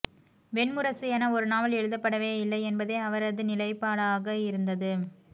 வெண்முரசு என ஒரு நாவல் எழுதப்படவே இல்லை என்பதே அவரது நிலைபாடாக இருந்தது